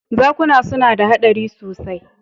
Zakuna suna da haɗari sosai.